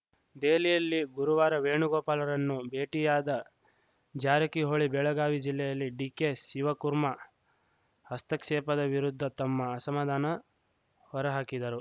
ದೆಹಲಿಯಲ್ಲಿ ಗುರುವಾರ ವೇಣುಗೋಪಾಲರನ್ನು ಭೇಟಿಯಾದ ಜಾರಕಿಹೊಳಿ ಬೆಳಗಾವಿ ಜಿಲ್ಲೆಯಲ್ಲಿ ಡಿಕೆಶಿವಕುರ್ಮಾ ಹಸ್ತಕ್ಷೇಪದ ವಿರುದ್ಧ ತಮ್ಮ ಅಸಮಾಧಾನ ಹೊರಹಾಕಿದರು